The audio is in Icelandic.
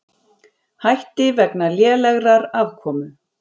Hætti vegna lélegrar afkomu